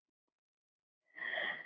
Svo heldur hann áfram